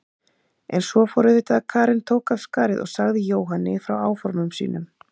En svo fór auðvitað að Karen tók af skarið og sagði Jóhanni frá áformum sínum.